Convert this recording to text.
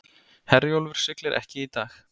Herjólfur siglir ekki í dag